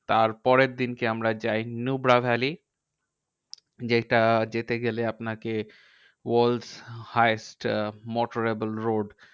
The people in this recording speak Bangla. তার পরের দিনকে আমরা যাই নুব্রা ভ্যালি। যেইটা যেতে গেলে আপনাকে world highest motorable road